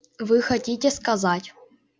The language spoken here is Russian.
вы хотите сказать